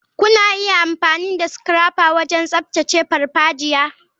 Kuna iya amfani da scrapper wajen tsaftace farfajiya.